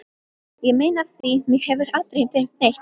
Ég meina af því mig hefur aldrei dreymt neitt.